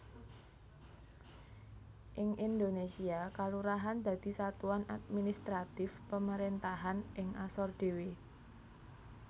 Ing Indonésia kalurahan dadi satuan administratif pemerentahan ing asor dhewe